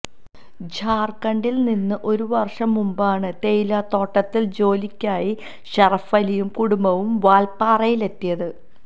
ഝാര്ഖണ്ടില് നിന്ന് ഒരു വര്ഷം മുമ്പാണ് തേയിലത്തോട്ടത്തില് ജോലിക്കായി ഷറഫലിയും കുടുംബവും വാല്പാറയിലെത്തിയത്